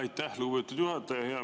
Aitäh, lugupeetud juhataja!